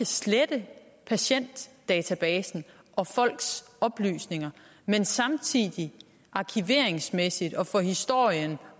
slette patientdatabasen og folks oplysninger men samtidig arkiveringsmæssigt for historiens